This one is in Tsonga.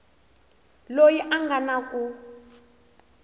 loyi a nga na ku